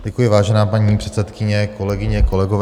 Děkuji vážená paní předsedkyně, kolegyně kolegové.